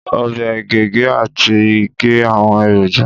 Ọbẹ ge, ge, ati ge awọn eroja